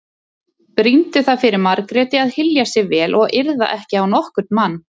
Brýndu það fyrir Margréti að hylja sig vel og yrða ekki á nokkurn mann.